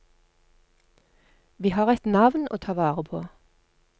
Vi har et navn å ta vare på.